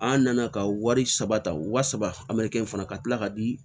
An nana ka wari saba ta wa saba in fana ka tila ka di